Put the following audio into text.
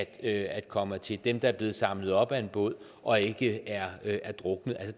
at komme hertil dem der er blevet samlet op af en båd og ikke er er druknet